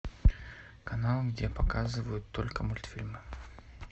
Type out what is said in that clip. канал где показывают только мультфильмы